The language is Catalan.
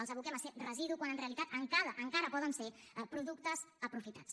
els aboquem a ser residu quan en realitat encara poden ser productes aprofitats